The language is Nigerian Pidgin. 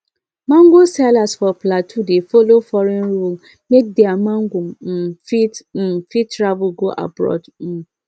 mango sellers for plateau dey follow foreign rule make their mango um fit um fit travel go abroad um